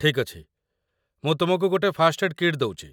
ଠିକ୍ ଅଛି, ମୁଁ ତୁମକୁ ଗୋଟେ ଫାଷ୍ଟ ଏଡ୍ କିଟ୍ ଦଉଚି